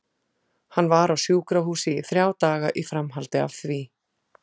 Hann var á sjúkrahúsi í þrjá daga í framhaldi af því.